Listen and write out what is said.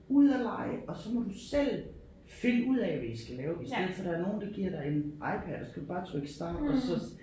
Ud og lege og så må du selv finde ud af hvad I skal lave i stedet for der er nogen der giver dig en iPad og så skal du bare trykke start og så